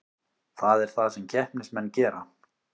Það er það sem keppnismenn gera